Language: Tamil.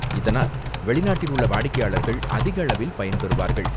இதனால், வெளிநாட்டில் உள்ள வாடிக்கையாளர்கள் அதிக அளவில் பயன்பெறுவார்கள்.